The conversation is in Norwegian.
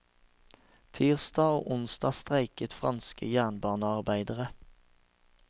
Tirsdag og onsdag streiket franske jernbanearbeidere.